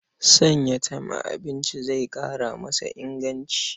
Sanya tem a abinci zai ƙara masa inganci.